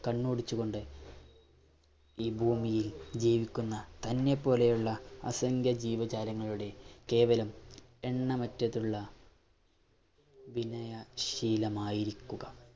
കണ്ണോടിച്ചുകൊണ്ട് ഈ ഭൂമിയിൽ ജീവിക്കുന്ന തന്നെ പോലെയുള്ള അസംഖ്യം ജീവജാലങ്ങളുടെ കേവലം എണ്ണമറ്റതിലുള്ള വിനയ ശീലമായിരിക്കുക.